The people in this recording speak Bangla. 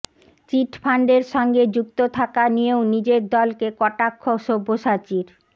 চিটফান্ডের সঙ্গে যুক্ত থাকা নিয়েও নিজের দলকে কটাক্ষ সব্যসাচীর